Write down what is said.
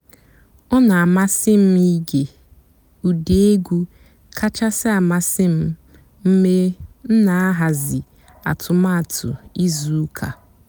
ọ́ nà-àmásị́ m íge ụ́dị́ ègwú kàchàsị́ àmásị́ m mg̀bé m nà-àhàzị́ àtụ́màtụ́ ìzú ụ́kà.